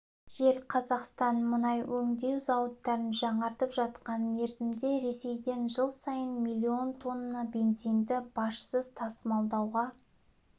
жел қазақстан мұнай өңдеу зауыттарын жаңартып жатқан мерзімде ресейден жыл сайын миллион тонна бензинді бажсыз тасымалдауға